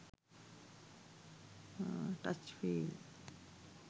touch feel